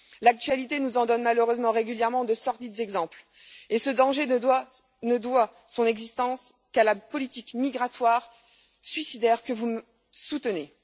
L'actualité nous en donne malheureusement régulièrement de sordides exemples et ce danger ne doit son existence qu'à la politique migratoire suicidaire que vous soutenez.